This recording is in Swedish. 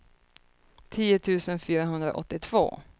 tio tusen fyrahundraåttiotvå